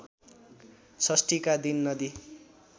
षष्ठीका दिन नदी